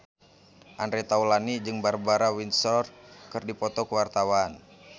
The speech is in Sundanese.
Andre Taulany jeung Barbara Windsor keur dipoto ku wartawan